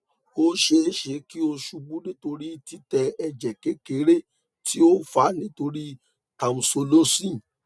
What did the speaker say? o ṣee ṣe ki o ṣubu nitori titẹ ẹjẹ kekere ti o fa nitori tamsulosin